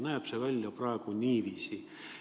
Ja see näeb praegu välja niiviisi.